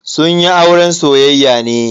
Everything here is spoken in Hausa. Sun yi auren soyayya ne.